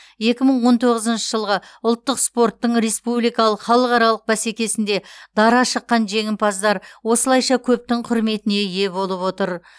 екі мың он тоғызыншы жылғы ұлттық спорттың республикалық халықаралық бәсекесінде дара шыққан жеңімпаздар осылайша көптің құрметіне ие болып отыр